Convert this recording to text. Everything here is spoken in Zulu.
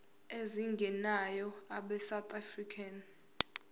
ezingenayo abesouth african